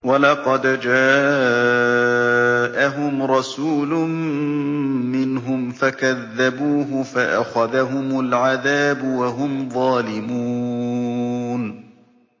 وَلَقَدْ جَاءَهُمْ رَسُولٌ مِّنْهُمْ فَكَذَّبُوهُ فَأَخَذَهُمُ الْعَذَابُ وَهُمْ ظَالِمُونَ